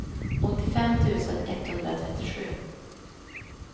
åttiofem tusen etthundratrettiosju